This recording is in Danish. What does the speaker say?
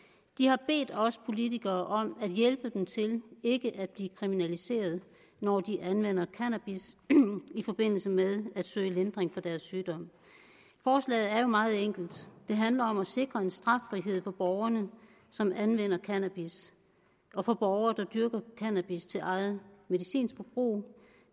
de har bedt os politikere om at hjælpe dem til ikke at blive kriminaliseret når de anvender cannabis i forbindelse med at søge lindring for deres sygdom forslaget er jo meget enkelt det handler om at sikre en straffrihed for borgere som anvender cannabis og for borgere der dyrker cannabis til eget medicinsk forbrug